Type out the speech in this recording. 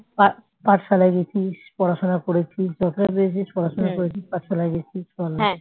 পা পাঠশালায় গেছিস পড়াশোনা করেছিস যতটা পেরেছিস পড়াশোনা করেছিস পাঠশালায় গেছিস